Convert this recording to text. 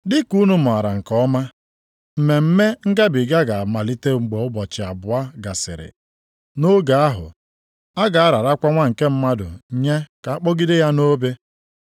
“Dị ka unu maara nke ọma, Mmemme Ngabiga ga-amalite mgbe ụbọchị abụọ gasịrị. Nʼoge ahụ, a ga-ararakwa Nwa nke Mmadụ nye ka a kpọgide ya nʼobe.”